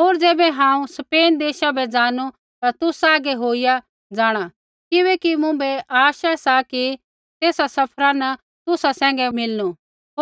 होर ज़ैबै हांऊँ स्पेन देशा बै ज़ानू ता तुसा हागै होईया जाँणा किबैकि मुँभै आश सा कि तेसा सफरा न तुसा सैंघै मिलनू